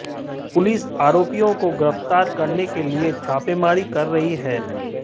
police आरोपियों को गिरफ्तार करने के लिए छापेमारी कर रही है